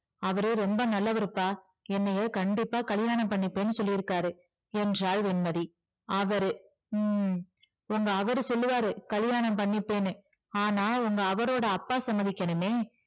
அவரு ரொம்ப நல்லவருப்பா என்னைய கண்டிப்பா கல்யாணம் பண்ணிப்பேன்னு சொல்லிருக்காரு என்றாள் வெண்மதி அவரு உம் உங்க அவரு சொல்லுவாரு கல்யாணம் பண்ணிப்பேன்னு ஆனால் உங்க அவரோட அப்பா சம்மதிக்கணுமே